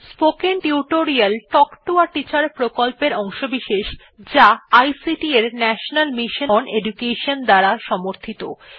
spoken tutorial talk to a teacher প্রকল্পের অংশবিশেষ যা আইসিটি এর ন্যাশনাল মিশন ওন এডুকেশন দ্বারা সমর্থিত